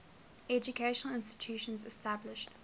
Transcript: educational institutions established